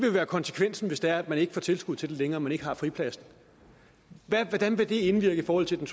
jo være konsekvensen hvis det er at man ikke får tilskud til det længere man ikke har fripladsen hvordan vil det indvirke i forhold til den